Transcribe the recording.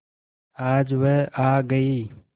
आज वह आ गई